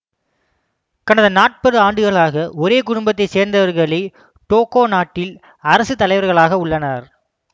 கடந்த நாற்பது ஆண்டுகளாக ஒரே குடும்பத்தை சேர்ந்தவர்களே டோகோ நாட்டில் அரசுத்தலைவர்களாக உள்ளனர்